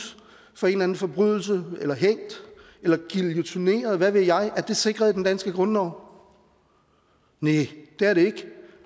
for en eller en forbrydelse eller hængt eller guillotineret eller hvad ved jeg sikret i den danske grundlov næh det er det ikke